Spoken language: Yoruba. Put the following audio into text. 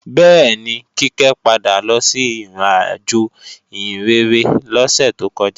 Bẹ́ẹ̀ni, Kíkẹ́ padà lọ sí ìrìnàjò ìhìnrere lọ́sẹ̀ tó kọjá